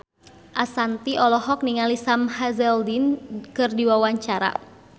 Ashanti olohok ningali Sam Hazeldine keur diwawancara